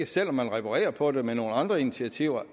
selv om man reparerer på det med nogle andre initiativer